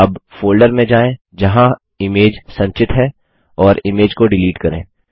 अब फोल्डर में जाएँ जहाँ इमेज संचित है और इमेज को डिलीट करें